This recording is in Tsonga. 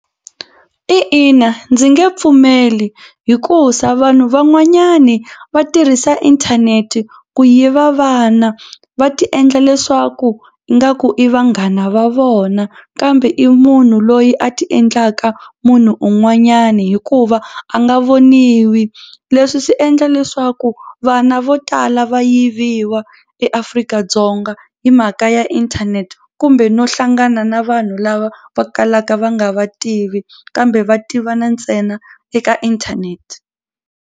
I ina ndzi nge pfumeli hikusa vanhu van'wanyani va tirhisa inthanete ku yiva vana va tiendla leswaku ingaku i vanghana va vona kambe i munhu loyi a tiendlaka munhu un'wanyani hikuva a nga voniwi. Leswi swi endla leswaku vana vo tala va yiviwa eAfrika-Dzonga hi mhaka ya inthanete kumbe no hlangana na vanhu lava va kalaka va nga va tivi kambe va tivana ntsena eka inthanete.